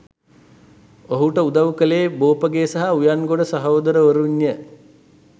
ඔහුට උදවු කලේ බෝපගේ සහ උයන්ගොඩ සහෝදරවරුන්ය